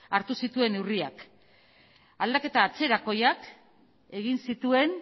hartu zituen neurriak aldaketa atzerakoiak egin zituen